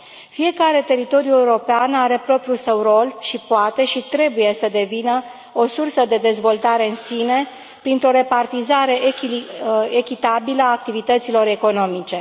Fiecare teritoriu european are propriul său rol și poate, și trebuie să devină o sursă de dezvoltare în sine printr o repartizare echitabilă a activităților economice.